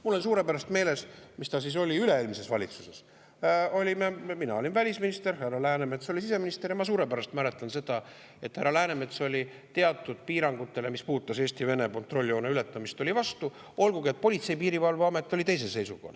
Mul on suurepäraselt meeles, üle-eelmises valitsuses olime, mina olin välisminister, härra Läänemets oli siseminister, ja ma suurepäraselt mäletan seda, et härra Läänemets oli teatud piirangutele, mis puudutasid Eesti-Vene kontrolljoone ületamist, vastu, olgugi et Politsei‑ ja Piirivalveamet oli teisel seisukohal.